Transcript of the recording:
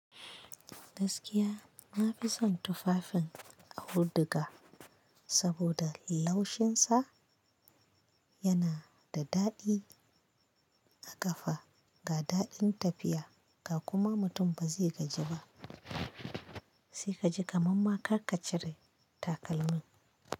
Gaskiya na fi son tufafin a afuduga, saboda laushinsa yana da daɗi a kafa, ga daɗin tafiya ga kuma mutum ba zai gaji ba. Sai ka ji kamamma karka ka cire takalmi.